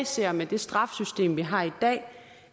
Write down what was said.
ser med det straffesystem vi har i dag